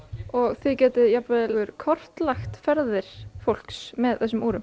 þið gætuð jafnvel kortlagt ferðir fólks með þessum